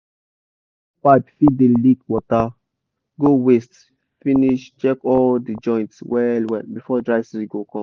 irrigation pipe fit dey leakwater go waste finish check all di joint well well before dry season go come.